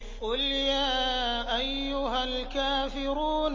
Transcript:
قُلْ يَا أَيُّهَا الْكَافِرُونَ